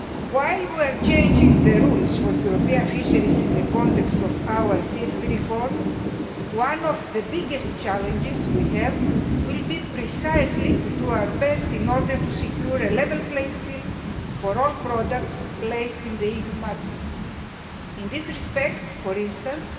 While we are changing the rules for European fisheries in the context of our CFP reform, one of the biggest challenges we will have will be precisely to do our best in order to secure a level playing field for all products placed on the EU market. In this respect, for instance,